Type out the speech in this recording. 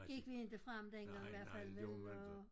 Gik vi inte frem dengang hvert fald vel og